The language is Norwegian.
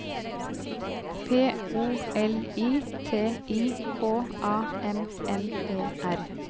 P O L I T I K A M M E R